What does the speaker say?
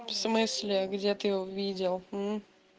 в смысле где ты его видел мм